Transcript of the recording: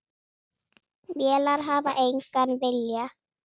Vélar hafa engan vilja.